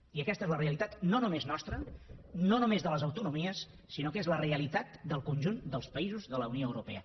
i aquesta és la realitat no només nostra no només de les autonomies sinó que és la realitat del conjunt dels països de la unió europea